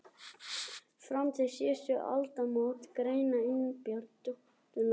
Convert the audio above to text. Fram til síðustu aldamóta- Grein Einars Benediktssonar um háskólabyggingu